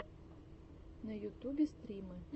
на ютубе стримы